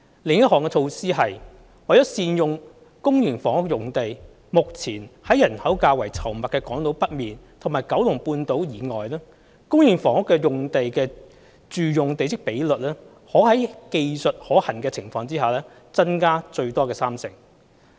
另一項措施是，為善用公營房屋用地，目前在人口較稠密的港島北面和九龍半島以外，公營房屋用地的住用地積比率可在技術可行的情況下增加最多三成。